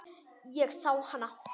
Ég sá hana.